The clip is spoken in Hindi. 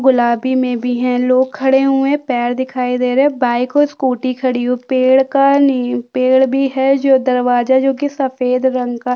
गुलाबी में भी हैं लोग खड़े हुए हैं पैर दिखाई दे रहें हैं बाइक और स्कूटी खड़ी है और पेड़ का नी पेड़ भी है जो दरवाजा जोकि सफ़ेद रंग का--